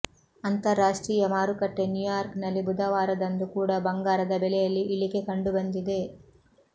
ಅಂತಾರಾಷ್ಟ್ರೀಯ ಮಾರುಕಟ್ಟೆ ನ್ಯೂಯಾರ್ಕ್ ನಲ್ಲಿ ಬುಧವಾರದಂದು ಕೂಡ ಬಂಗಾರದ ಬೆಲೆಯಲ್ಲಿ ಇಳಿಕೆ ಕಂಡು ಬಂದಿದೆ